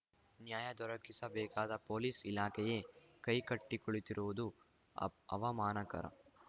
ನ್ಯಾಯ ದೊರಕಿಸಬೇಕಾದ ಪೊಲೀಸ್‌ ಇಲಾಖೆಯೇ ಕೈ ಕಟ್ಟಿಕುಳಿತಿರುವುದು ಅಪ್ ಅವಮಾನಕರ